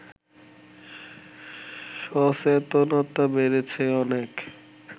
সচেতনতা বেড়েছে অনেক